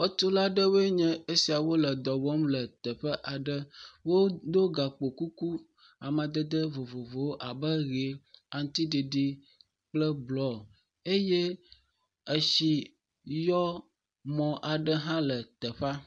Xɔtula nye esia wole dɔ wɔm le teƒe aɖe. Wodo gakpokuku amadede vovovowo abe ʋi, aŋutiɖiɖi kple blɔ eye etsi yɔ mɔ aɖe hã le teƒe.